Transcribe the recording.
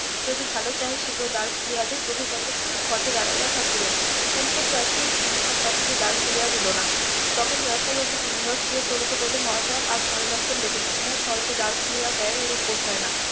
যদি ভালো চাহিস দ্বার খুলিয়া দে প্রভু কতক্ষন পথে দাঁড়িয়ে থাকিবেন হেমকুট বাসী কিঙ্কর তাহাকে দ্বার খুলিয়া দিলো না তখন . বাসী কিঙ্কর বলিল মহাশয় আর ভালো লক্ষণ দেখতেছি না সহজে দ্বার খুলিয়া দেয় এরূপ বোধ হয় না